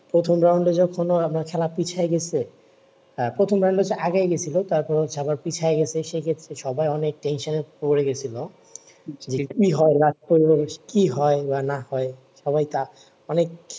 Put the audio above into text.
প্রথম round যখনও আমরা খেলা পিছিয়ে গেছে আহ প্রথম round আগায় গেছিলো তার পরে হচ্ছে পিছায় গেছে সে ক্ষেত্রে সবাই অনেক tensionএ পরে গেছিলো কি হয় না হয় লাস্টে কি হয় বা না হয় সবাই কা অনেক